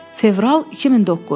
Fevral 2009.